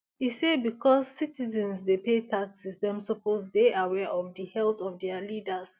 e say becos citizens dey pay taxes dem suppose dey aware of di health of dia leaders